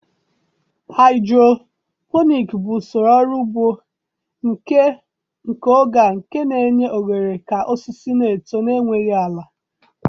Hidroponik bụ usoro ọrụ ugbo nke oge a nke na-enye ohere ka osisi na-eto n'enweghị ala.